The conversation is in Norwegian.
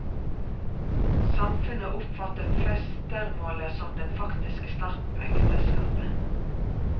Samfunnet oppfattet festermålet som den faktiske starten på ekteskapet.